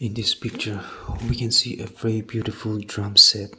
in this picture we can see a very beautiful drum set.